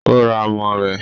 o ra amọ rẹ.